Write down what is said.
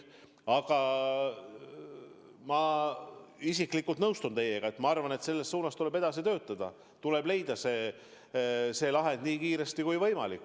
Aga ma isiklikult nõustun teiega, et selles suunas tuleb edasi töötada, tuleb leida see lahend nii kiiresti kui võimalik.